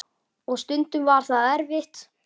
Og stundum var það erfitt.